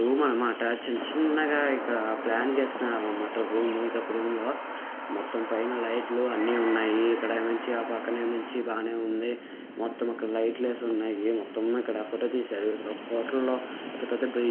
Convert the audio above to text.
Room అన్నమాట చిన్న చిన్నగా ఇక్కడ ప్లాన్ గీస్తున్నారన్నమాట రూము ఇదొక రూమ్ లో మొత్తం పైన లైట్ లు అన్ని ఉన్నాయి ఇక్కడేమో వచ్చి ఆ పక్కనేమో వచ్చి బానే ఉంది మొత్తం అక్కడ లైట్ లేసి ఉన్నాయి మొత్తం ఇక్కడ ఫోటో తీశారు ఇక్కడ ఒక హోటల్ లో పెద్ద పెద్ద బ్రిడ్జ్.